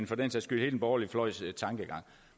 for den sags skyld hele den borgerlige fløjs tankegang